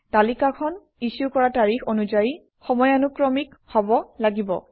তালিকাখন ইছ্যু কৰা তাৰিখ অনুযায়ী সময়ানুক্ৰমিক হব লাগিব